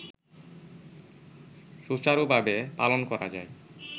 সুচারুভাবে পালন করা যায়